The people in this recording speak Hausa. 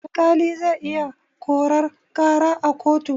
Alƙali zai iya korar ƙara a kotu.